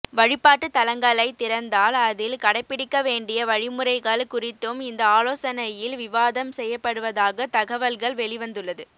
வழிபாட்டுத் தலங்களைத் திறந்தால் அதில் கடைபிடிக்க வேண்டிய வழிமுறைகள் குறித்தும் இந்த ஆலோசனையில் விவாதம் செய்யப்படுவதாக தகவல்கள் வெளிவந்துள்ளது